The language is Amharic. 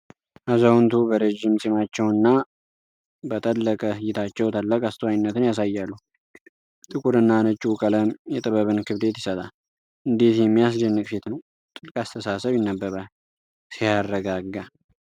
አዛውንቱ በረዥም ፂማቸውና በጠለቀ እይታቸው ታላቅ አስተዋይነትን ያሳያሉ። ጥቁርና ነጭው ቀለም የጥበብን ክብደት ይሰጣል። እንዴት የሚያስደንቅ ፊት ነው! ጥልቅ አስተሳሰብ ይነበባል! ሲያረጋጋ!